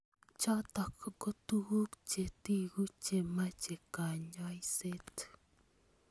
Chotok ko tukuk chetiku chemeche kanyoiset.